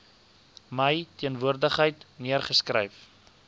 my teenwoordigheid neergeskryf